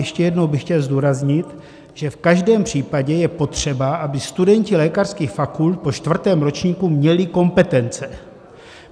Ještě jednou bych chtěl zdůraznit, že v každém případě je potřeba, aby studenti lékařských fakult po čtvrtém ročníku měli kompetence.